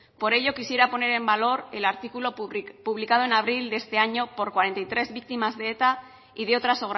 por ello quisiera poner en valor el artículo publicado este año por cuarenta y tres víctimas de eta y de otras